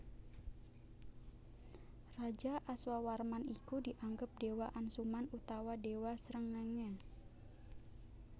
Raja Aswawarman iku dianggep dewa Ansuman utawa dewa Srengenge